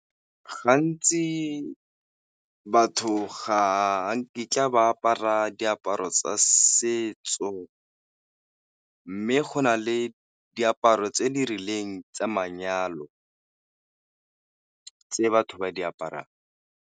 Gantsi batho ga nkitla ba apara diaparo tsa setso, mme go na le diaparo tse di rileng tsa manyalo tse batho ba di aparang.